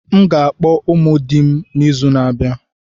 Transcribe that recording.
M ga-akpọ ụmụ di m n'izu na-abịa.